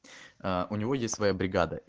у него есть своя бригада